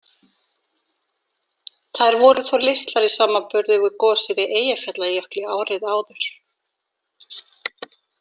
Þær voru þó litlar í samanburði við gosið í Eyjafjallajökli árið áður.